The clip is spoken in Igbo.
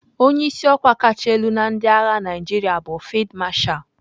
Onye isi ọkwa kacha elu na ndị agha Naijiria bụ Field Marshal.